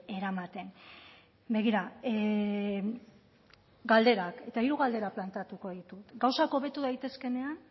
eramaten begira galderak eta hiru galderak planteatuko ditut gauzak hobetu daitezkeenean